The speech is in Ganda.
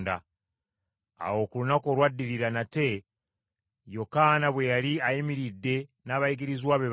Awo ku lunaku olwaddirira nate Yokaana bwe yali ayimiridde n’abayigirizwa be babiri,